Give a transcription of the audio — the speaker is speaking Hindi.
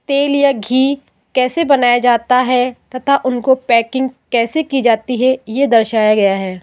तेल या घी कैसे बनाया जाता है तथा उनको पैकिंग कैसे की जाती है ये दर्शाया गया है।